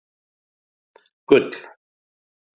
Gull